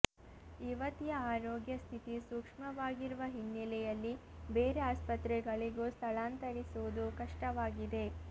ಯುವತಿಯ ಆರೋಗ್ಯ ಸ್ಥಿತಿ ಸೂಕ್ಮವಾಗಿರುವ ಹಿನ್ನಲೆಯಲ್ಲಿ ಬೇರೆ ಆಸ್ಪತ್ರೆಗಳಿಗೂ ಸ್ಥಳಾಂತರಿಸುವುದು ಕಷ್ಟವಾಗಿದೆ